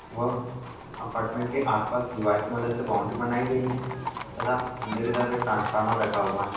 व अपार्टमेंट के आस-पास दीवार की मदद से बौंड़री बनाई गयी हैं तथा अंदर की तरफ एक ट्रांसफॉर्मर लगा हुआ है।